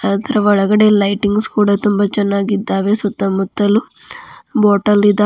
ಅದರ ಒಳಗಡೆ ಲೈಟಿಂಗ್ಸ್ ಕೂಡ ತುಂಬ ಚೆನ್ನಾಗಿದ್ದಾವೆ ಸುತ್ತ ಮುತ್ತಲು ಬಾಟಲ್ ಇದಾ--